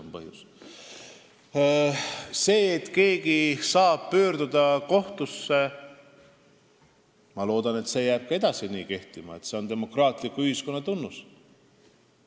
Aga ma loodan, et see võimalus, et keegi saab pöörduda kohtusse, jääb ka edaspidi kehtima – see on demokraatliku ühiskonna tunnus.